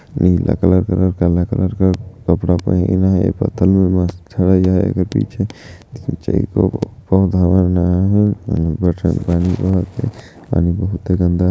नीला colour colour काला colour colour का कपड़ा पहिन आहे पानी बहुते गन्दा--